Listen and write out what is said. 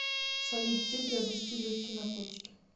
салют где приобрести легкие наркотики